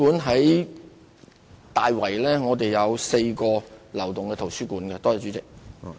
例如，大圍有4個流動圖書館服務站。